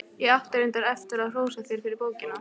Ég átti reyndar eftir að hrósa þér fyrir bókina.